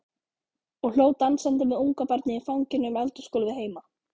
Og hló dansandi með ungabarnið í fanginu um eldhúsgólfið heima.